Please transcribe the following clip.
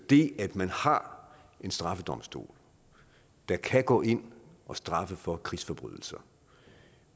det at man har en straffedomstol der kan gå ind at straffe for krigsforbrydelser